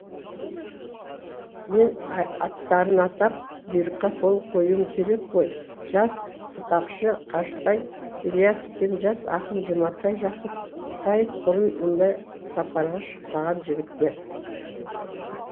мен аттарын атап бұйрыққа қол қоюым керек қой жас сықақшы қажытай ілиясов пен жас ақын жұматай жақыпбаев бұрын мұндай сапарға шықпаған жігіттер